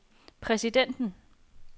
præsidenten